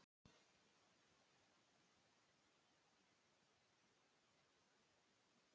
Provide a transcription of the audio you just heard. Allir voru svo meðvitaðir um brunavarnir um áramótin.